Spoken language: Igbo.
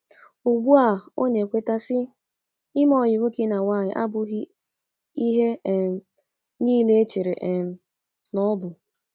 Ugbua ọ na - ekweta, sị: “ Ime ọyị nwoke na nwaanyi abughị ihe um nile echere um na ọ bụ ”